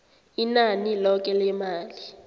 inani loke lemali